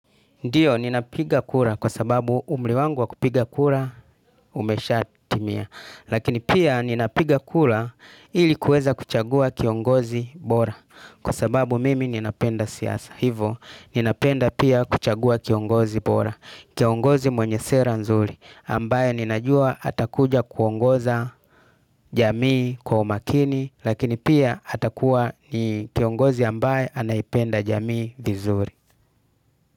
Ndiyo, ninapiga kura kwa sababu umri wangu wa kupiga kura umesha timia. Lakini pia ninapiga kura ili kuweza kuchagua kiongozi bora. Kwa sababu mimi ninapenda siasa. Hivo, ninapenda pia kuchagua kiongozi bora. Kiongozi mwenye sera nzuri. Ambaye ninajua atakuja kuongoza jamii kwa umakini. Lakini pia atakuwa ni kiongozi ambaye anaipenda jamii vizuri.